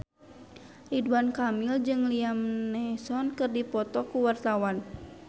Ridwan Kamil jeung Liam Neeson keur dipoto ku wartawan